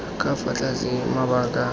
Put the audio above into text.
ka fa tlase ga mabaka